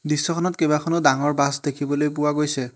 দৃশ্যখনত কেবাখনো ডাঙৰ বাছ দেখিবলৈ পোৱা গৈছে।